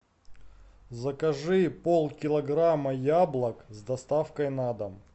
закажи пол килограмма яблок с доставкой на дом